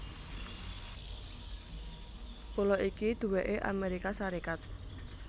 Pulo iki duweké Amérika Sarékat